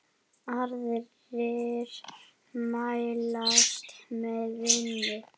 Aðrir mælast með minna.